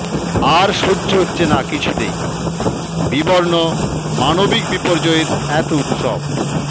আর সহ্য হচ্ছে না কিছুতেই বিবর্ণ মানবিক বিপর্যয়ের এতো উৎসব